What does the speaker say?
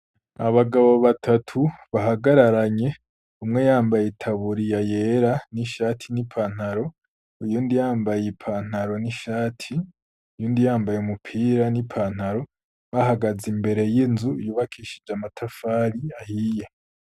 Abagabo batatu bahagararanye umwe yambaye itaburi ya yera n'ishati n'ipantaro uyu ndi yambaye ipantaro n'ishati yundi yambaye mupira n'ipantaro bahagaze imbere y'inzu iyubakishije amatafari ahiye.